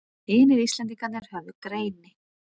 Hinir Íslendingarnir höfðu greini